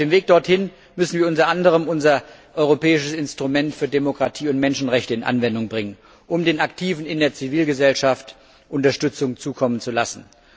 Auf dem Weg dorthin müssen wir unter anderem unser Europäisches Instrument für Demokratie und Menschenrechte zur Anwendung bringen, um den Aktiven in der Zivilgesellschaft Unterstützung zukommen zu lassen.